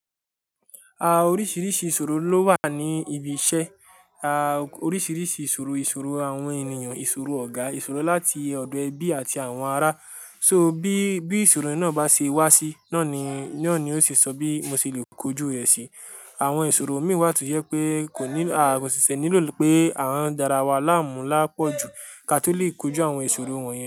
À, oríṣìíríṣìí ìṣòro ló wà ní ibi iṣẹ́. À, oríṣìíríṣìí ìṣòro, ìṣòro àwọn ènìyàn, ìṣòro ọ̀gá, ìṣòro láti ọ̀dọ̀ ẹbí àti àwọn ará. So bí, bí ìṣòro náà bá ṣe wá sí, náà ni, náà ni ó ṣe sọ bí mo ṣe lè kojú rẹ̀ sí. Àwọn ìṣòro mi wà tó yẹ pé kò nílò, àwọn ṣiṣẹ́ nílò pé à dára wa láàmú lápọ̀jù kí a tó lè kojú àwọn ìṣòro wọ̀nyẹn.